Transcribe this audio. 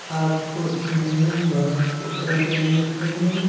आपस मे बात कर रहे हैं।